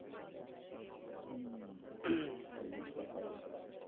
তাই জন্য ব্যাপার এইটা আছে।